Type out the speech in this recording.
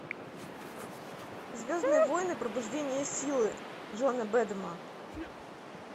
звездные войны пробуждение силы джона бэдэма